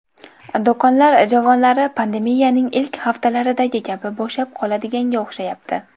Do‘konlar javonlari pandemiyaning ilk haftalaridagi kabi bo‘shab qoladiganga o‘xshayapti.